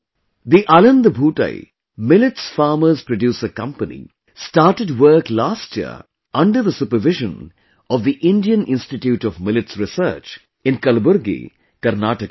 The Aland Bhootai Aland Bhutai Millets Farmers Producer Company started work last year under the supervision of the Indian Institute of Millets Research in Kalaburgi, Karnataka